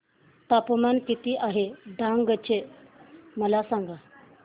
तापमान किती आहे डांग चे मला सांगा